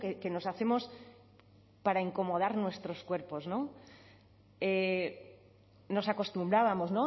que nos hacemos para incomodar nuestros cuerpos nos acostumbrábamos